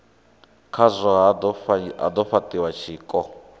khazwo ha do fhatiwa tshiko